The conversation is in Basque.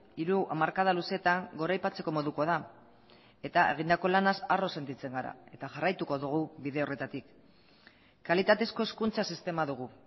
hiru hamarkada luzeetan goraipatzeko modukoa da eta egindako lanaz harro sentitzen gara eta jarraituko dugu bide horretatik kalitatezko hezkuntza sistema dugu